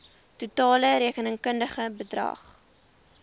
totale rekenkundige bedrag